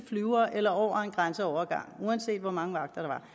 flyver eller over en grænseovergang uanset hvor mange vagter